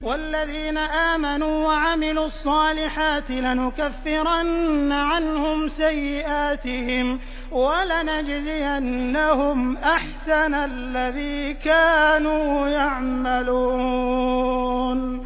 وَالَّذِينَ آمَنُوا وَعَمِلُوا الصَّالِحَاتِ لَنُكَفِّرَنَّ عَنْهُمْ سَيِّئَاتِهِمْ وَلَنَجْزِيَنَّهُمْ أَحْسَنَ الَّذِي كَانُوا يَعْمَلُونَ